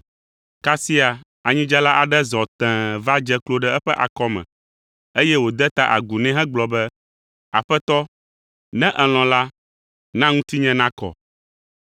Kasia anyidzela aɖe zɔ tẽe va dze klo ɖe eƒe akɔme, eye wòde ta agu nɛ hegblɔ be, “Aƒetɔ, ne èlɔ̃ la, na ŋutinye nakɔ.”